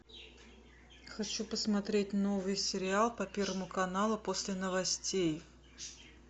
хочу посмотреть новый сериал по первому каналу после новостей